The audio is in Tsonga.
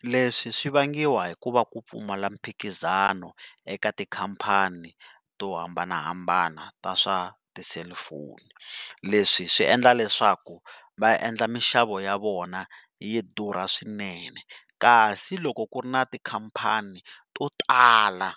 Leswi swi vangiwa hikuva ku pfumala mphikizano eka tikhampani to hambanahambana ta swa ti-cellphone, leswi swi endla leswaku va endla mixavo ya vona yi durha swinene, kasi loko ku ri na tikhampani to tala